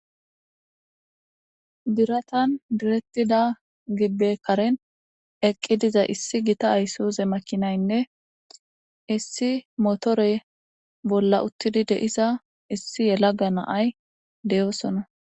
Biratan direttida gibbe kkaren eqqi diza issi gita ayssuze makinaynne issi motore bolla uttidi deisa issi yelaga na'ay de'osona